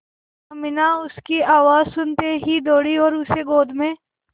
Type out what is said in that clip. अमीना उसकी आवाज़ सुनते ही दौड़ी और उसे गोद में